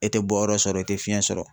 E te bɔyɔrɔ sɔrɔ e te fiɲɛ sɔrɔ